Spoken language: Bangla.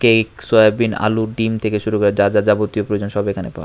কেক সোয়াবিন আলু ডিম থেকে শুরু করে যা যা যাবতীয় প্রয়োজন সব এখানে পাওয়া--